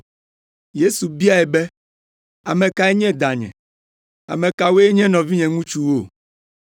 Yesu biae be, “Ame kae nye danye? Ame kawoe nye nɔvinye ŋutsuwo?”